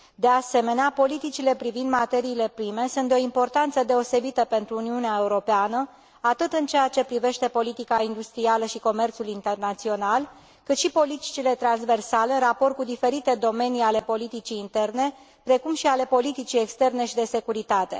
De asemenea, politicile privind materiile prime sunt de o importanță deosebită pentru Uniunea Europeană, atât în ceea ce privește politica industrială și comerțul internațional, cât și în ceea ce privește politicile transversale în raport cu diferite domenii ale politicii interne, precum și ale politicii externe și de securitate.